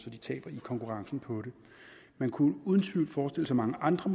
at de taber i konkurrencen på det man kunne uden tvivl forestille sig mange andre